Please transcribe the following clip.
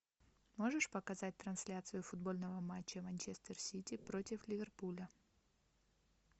можешь показать трансляцию футбольного матча манчестер сити против ливерпуля